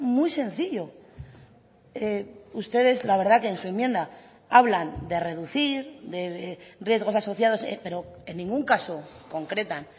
muy sencillo ustedes la verdad que en su enmienda hablan de reducir de riesgos asociados pero en ningún caso concretan